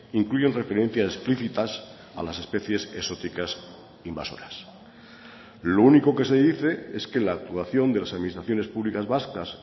incluyen referencias explicitas a las especies exóticas invasoras lo único que se dice es que la actuación de las administraciones públicas vascas